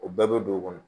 O bɛɛ bɛ don o kɔnɔ